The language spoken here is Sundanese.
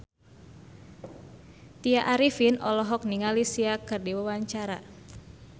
Tya Arifin olohok ningali Sia keur diwawancara